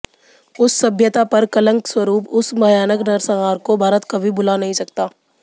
उस सभ्यता पर कलंकस्वरूप उस भयानक नरसंहार को भारत कभी भुला नहीं सकता